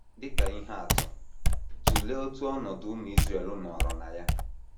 Dị ka ihe atụ, tụlee otu ọnọdụ ụmụ Israel nọrọ na ya.